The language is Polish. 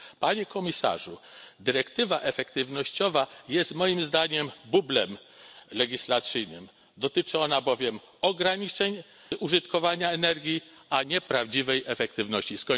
Panie Komisarzu, dyrektywa efektywnościowa jest moim zdaniem bublem legislacyjnym, dotyczy ona bowiem ograniczeń użytkowania energii, a nie prawdziwej efektywności.